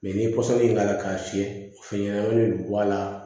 ni k'a la k'a fiyɛ fɛn ɲɛnɛnamanin de don bɔ a la